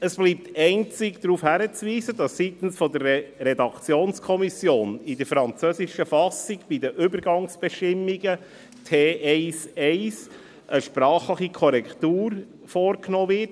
Es bleibt einzige darauf hinzuweisen, dass seitens der Redaktionskommission bei den Übergangsbestimmungen der französischen Fassung in Artikel T1-1 eine sprachliche Korrektur vorgenommen wird.